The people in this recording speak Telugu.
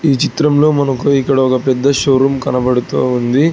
ఈ చిత్రంలో మనకు ఇక్కడ ఒక పెద్ద షోరూం కనబడుతోంది.